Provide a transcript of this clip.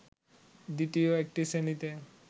দ্বিতীয় একটি শ্রেণীতে